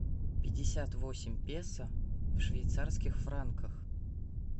пятьдесят восемь песо в швейцарских франках